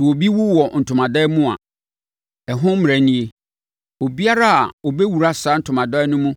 “Sɛ obi wu wɔ ntomadan mu a, ɛho mmara nie: Obiara a ɔbɛwura saa ntomadan no mu